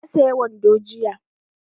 Na saya wando jiya